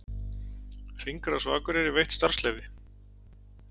Hringrás á Akureyri veitt starfsleyfi